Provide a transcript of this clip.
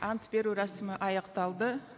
ант беру рәсімі аяқталды